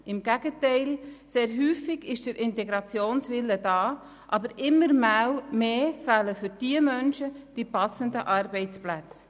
Im Gegenteil: Sehr oft ist der Integrationswille vorhanden, aber immer mehr fehlen die für diese Menschen passenden Arbeitsplätze.